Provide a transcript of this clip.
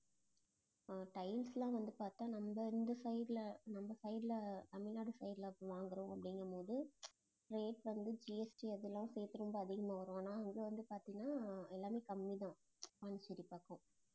அஹ் tiles எல்லாம் வந்து பாத்தா நம்ம இந்த side ல, நம்ம side ல ஆஹ் தமிழ்நாடு side ல வாங்குறோம் அப்படிகும் போது rate வந்து GST அதெல்லாம் சேர்த்து ரொம்ப அதிகமா வரும். ஆனா அங்க வந்து பாத்தீங்கன்னா எல்லாமே கம்மிதான் பாண்டிச்சேரி பக்கம்